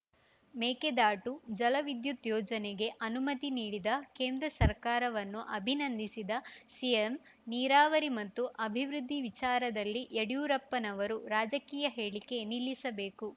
ಮೇಕೆದಾಟು ಜಲ ವಿದ್ಯುತ್‌ ಯೋಜನೆಗೆ ಅನುಮತಿ ನೀಡಿದ ಕೇಂದ್ರ ಸರ್ಕಾರವನ್ನು ಅಭಿನಂದಿಸಿದ ಸಿಎಂ ನೀರಾವರಿ ಮತ್ತು ಅಭಿವೃದ್ಧಿ ವಿಚಾರದಲ್ಲಿ ಯಡಿಯೂರಪ್ಪನವರು ರಾಜಕೀಯ ಹೇಳಿಕೆ ನಿಲ್ಲಿಸಬೇಕು